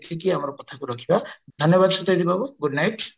ଏତିକି ଆମ କଥା କୁ ରଖିବା ଧନ୍ୟବାଦ ସତେଜ ବାବୁ good night